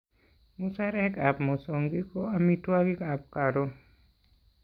Musarekap mosongik ko amitwogikap karon